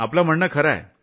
आपलं म्हणणं खरं आहे